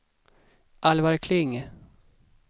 Alvar Kling